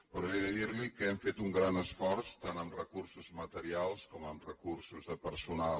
però he de dir·li que hem fet un gran esforç tant en recur·sos materials com en recursos de personal